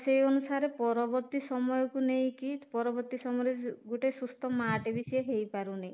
ସେଇ ଅନୁସାରେ ପରବର୍ତ୍ତୀ ସମୟକୁ ନେଇକି ପରବର୍ତ୍ତୀ ସମୟରେ ଗୋଟେ ସୁସ୍ଥ ମା ଟେ ବି ସେ ହେଇପାରୁନି